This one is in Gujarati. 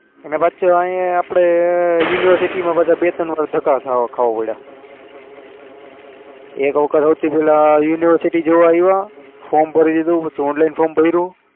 પાસું અહી આપણે university બધા બે ત્રણવાર ધક્કા ખાવા ખાવા પડ્યા એક વખત સૌથી પહેલા university જોવા આવ્યા form ભરી દીધું પછી online form ભર્યું